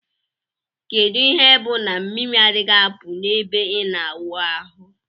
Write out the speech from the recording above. Kedu ihe bu na mmiri adighi apu na ebe ina awụ ahu?